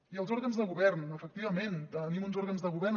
i els òrgans de govern efectivament tenim uns òrgans de govern